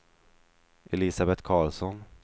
Elisabet Carlsson